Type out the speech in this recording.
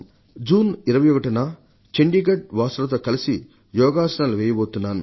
June 21న చండీగఢ్ వాసులతో కలసి యోగాసనాలు వెయ్యబోతున్నాను